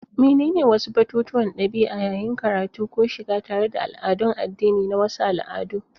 Menene wasu batutuwan ɗabi'a yayin karatu ko shiga tare da al'adun addini na wasu al'adu?